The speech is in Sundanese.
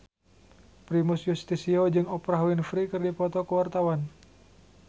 Primus Yustisio jeung Oprah Winfrey keur dipoto ku wartawan